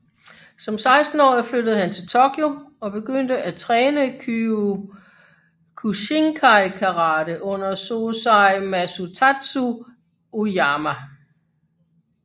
Som 16 årig flyttede han til Tokyo og begyndte at træne Kyokushinkai Karate under Sosai Masutatsu Oyama